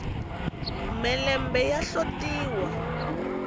mhelembe ya hlotiwa